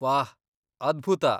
ವಾಹ್, ಅದ್ಭುತ!